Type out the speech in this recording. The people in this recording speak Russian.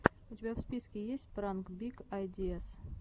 у тебя в списке есть пранк биг айдиаз